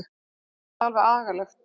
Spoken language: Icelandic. Mér finnst það alveg agalegt.